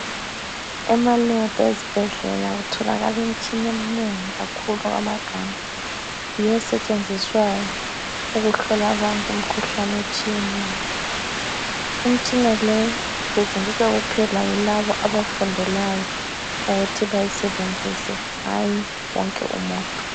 Emalebhu ezibhedlela kutholakala imitshina eminengi kakhulu okwamagama. Yiyo esetshenziswayo ukuhlola abantu imikhuhlane etshiyeneyo. Imitshina le isetshenziswa yilabo abayifundelayo ukuthi bayisebenzise hayi wonke umuntu.